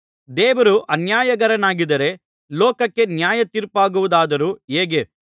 ದೇವರು ಅನ್ಯಾಯಗಾರನಾಗಿದ್ದರೆ ಲೋಕಕ್ಕೆ ನ್ಯಾಯ ತೀರ್ಪಾಗುವುದಾದರೂ ಹೇಗೆ